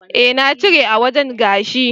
Eh na cire a wajen gashin.